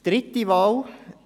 Dritte Wahl: